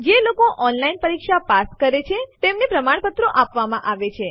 જેઓ online test pass કરે છે તેમને પ્રમાણપત્રો પણ આપીએ છીએ